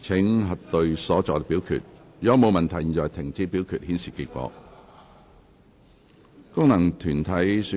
如果沒有問題，現在停止表決，顯示結果。